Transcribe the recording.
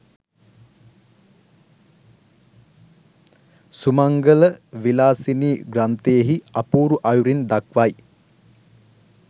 සුමංගල විලාසිනි ග්‍රන්ථයෙහි අපූරු අයුරින් දක්වයි